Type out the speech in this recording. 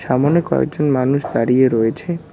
সামোনে কয়েকজন মানুষ দাঁড়িয়ে রয়েছে।